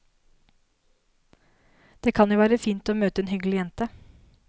Det kan jo være fint å møte en hyggelig jente.